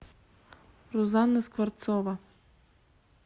рузанна скворцова